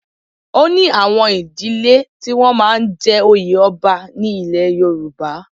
O ní àwọn ìdílẹ́ tí wọ́n máa ń jẹ oyè ọba ní ilẹ̀ Yorùbá.